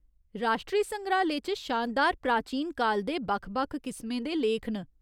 राश्ट्री संग्राह्‌लय च शानदार प्राचीन काल दे बक्ख बक्ख किसमें दे लेख न।